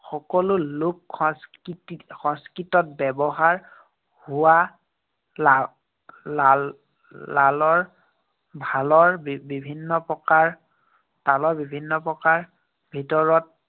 সকলো লোক সংস্কৃতি~ সংস্কৃতত ব্যৱহাৰ হোৱা লাল লাল লালৰ ভালৰ বিভিন্ন প্ৰকাৰ, তালৰ বিভিন্ন প্ৰকাৰৰ ভিতৰত